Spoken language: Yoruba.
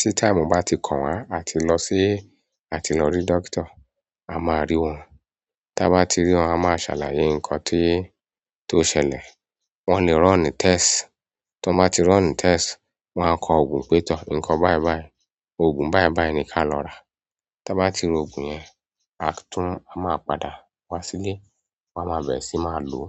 tí táímù bá ti kàn wá, a ti lọ sí-- a ti lọ rí dókítà. A máa rí wọn. Tí a bá ti ri wọn, a máa ṣàlàyé nǹkan ti- tó ṣẹlẹ̀. Wọ́n lè run nu test. Tí wọ́n bá ti run nu test, wọ́n á kọ òògùn pé tọ́ ǹkan báìbàí, òògùn báìbàí ni ká lọ ra. Tí a bá ti ro òògùn yẹn, a tún a máa padà wá sílé, wọ́n á máa bẹ̀re síi, máa lò ó.